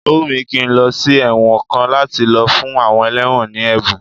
Ó wùn mí kí n lọ sí ẹ̀wọ̀n kan láti lọ fún àwọn ẹlẹ́wọ̀n ní ẹ̀bùn